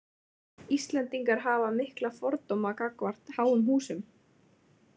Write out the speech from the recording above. Íslendingar hafa mikla fordóma gagnvart háum húsum.